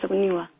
ऐसा तो नहीं हुआ